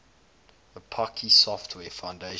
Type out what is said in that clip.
apache software foundation